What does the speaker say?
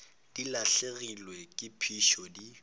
di lahlegelwa ke phišo di